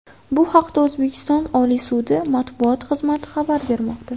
Bu haqda O‘zbekiston Oliy sudi matbuot xizmati xabar bermoqda .